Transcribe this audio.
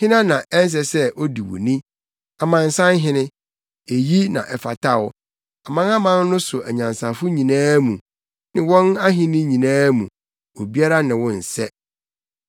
Hena na ɛnsɛ sɛ odi wo ni, Amansanhene? Eyi na ɛfata wo. Amanaman no so anyansafo nyinaa mu ne wɔn ahenni nyinaa mu, obiara ne wo nsɛ.